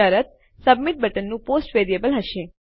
શરત સબમિટ બટનનું post variable હશે